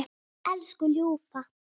Elsku ljúfa.